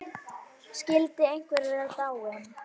Skyldi einhver vera dáinn?